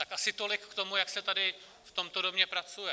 Tak asi tolik k tomu, jak se tady v tomto domě pracuje.